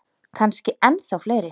Kannski ennþá fleiri.